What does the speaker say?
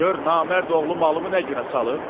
Gör namərd oğlu malımı nə günə salıb!